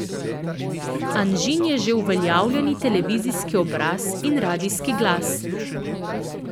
Anžin je že uveljavljeni televizijski obraz in radijski glas.